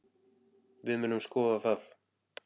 Við munum skoða það.